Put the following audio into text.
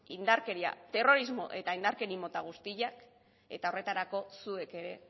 terrorismo eta indarkeria mota guztiak eta horretarako zuek ere